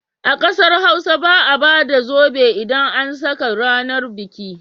A ƙasar Hausa ba a ba da zobe idan an saka ranar biki.